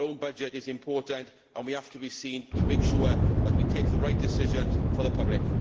Our own budget is important and we have to be seen to be making sure that we take the right decisions for the public.